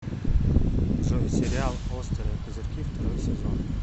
джой сериал острые козырьки второй сезон